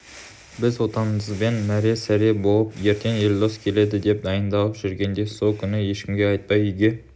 біз отбасымызбен мәре-сәре болып ертең елдос келеді деп дайындалып жүргенде сол күні ешкімге айтпай үйге